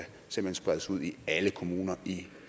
spredes ud i alle kommuner i